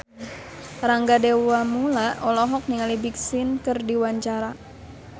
Rangga Dewamoela olohok ningali Big Sean keur diwawancara